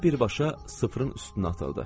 Nənə birbaşa sıfırın üstünə atıldı.